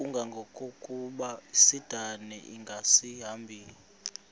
kangangokuba isindane ingasahambi